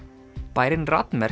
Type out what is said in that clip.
bærinn